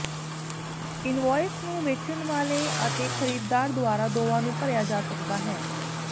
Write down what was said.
invoice ਨੂੰ ਵੇਚਣ ਵਾਲੇ ਅਤੇ ਖਰੀਦਦਾਰ ਦੁਆਰਾ ਦੋਵਾਂ ਨੂੰ ਭਰਿਆ ਜਾ ਸਕਦਾ ਹੈ